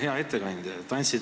Hea ettekandja!